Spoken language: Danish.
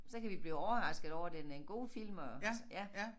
Så kan vi blive overraskede over det en god film og altså ja